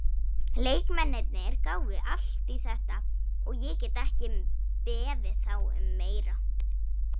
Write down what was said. Leikmennirnir gáfu allt í þetta og ég get ekki beðið þá um meira.